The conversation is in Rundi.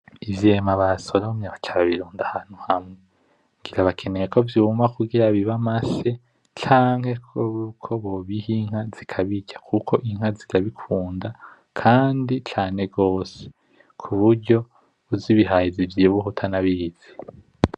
Ivyema basoromye baca babirunda ahantu hamwe, ngira bakeneye ko vyuma kugira bibe amase canke ko bobiha inka zikabirya kuko inka zirabikunda kandi cane gose hose kuburyo uzibihaye zivyibuha utanabizi.